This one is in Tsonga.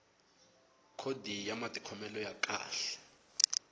khodi ya matikhomelo ya kahle